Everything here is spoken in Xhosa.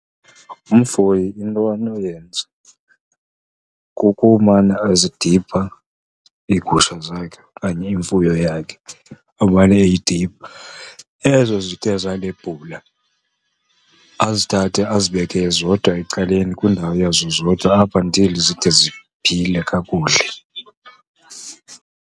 Umfuyi into anoyenza kukumana ezidipha iigusha zakhe okanye imfuyo yakhe, amane eyidipha. Ezo zithe zanebhula, azithathe azibeke zodwa ecaleni kwindawo yazo zodwa up until zide ziphile kakuhle.